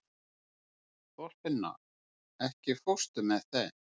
Þorfinna, ekki fórstu með þeim?